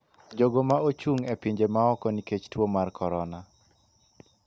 jogo ma ochung’ e pinje ma oko nikech tuo mar Korona.